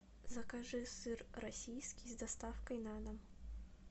закажи сыр российский с доставкой на дом